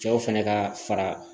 Cɛw fɛnɛ kaa fara